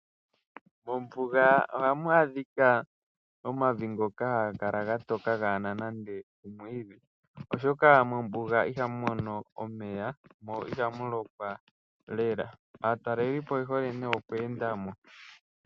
Mombuga ohamu adhika omavi ngoka haga kala gatoka kagena nande omwiidhi, oshoka mombuga ihamu mono omeya, mo ihamu lokwa lela. Aatalelipo oye hole nee oku endamo.